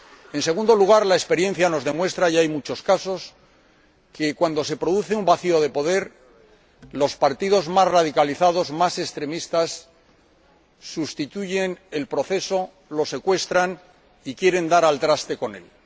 En segundo lugar, la experiencia nos demuestra ―y hay muchos casos― que, cuando se produce un vacío de poder, los partidos más radicalizados, más extremistas, sustituyen el proceso, lo secuestran y quieren dar al traste con él.